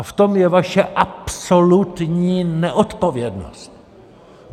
A v tom je vaše absolutní neodpovědnost!